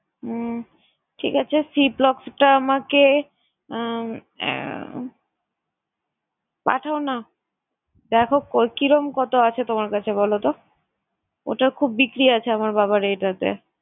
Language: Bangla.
উম ঠিক আছে ciplox টা আমাকে আহ আহ পাঠাওনা। দেখো কই~ কিরম কতো আছে তোমার কাছে বলতো? ওটার খুব বিক্রি আছে আমার বাবার এটাতে।